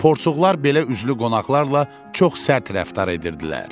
Porsuqlar belə üzlü qonaqlarla çox sərt rəftar edirdilər.